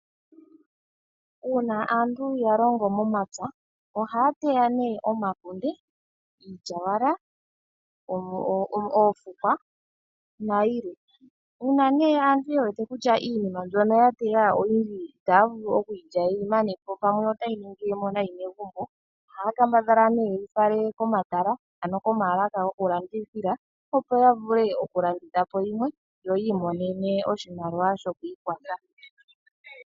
Uuna aantu ya longo momapya ohaya teya nee omakunde, iilyawala, oofukws nayilwe. Uuna nee aantu yewete kutya iinima mbyoka yateya oyindji itaya vulu okuyi lya yeyi manepo pamwe otayi ningilemo nayi megumbo ohaua kambadhala nee yeyi fale komatala ano komaalaka gokulandithila, opo yavule okulanditha po yimwe, yo yamone mo oshimaliwa shokwiikwatha.